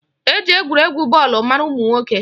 Eji egwuregwu bọọlụ mara ụmụnwoke